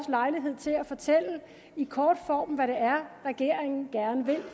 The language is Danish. lejlighed til at fortælle i kort form hvad det er regeringen gerne vil